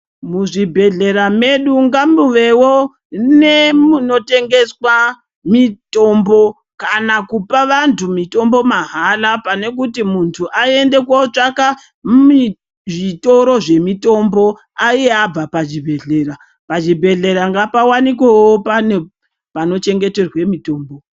Muzvibhehlera medu ngamuvewo nemunotengeswa mitombo kana kupa vantu mitombo mahala pane kuti muntu aende kootsvaka zvitoro zvemitombo iye abva pazvibhehlera. Pazvibhehlera ngapawanikwewo pane panochengeterwa mitombo.